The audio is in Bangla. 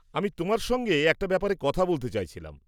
আমি তোমার সঙ্গে একটা ব্যাপারে কথা বলতে চাইছিলাম।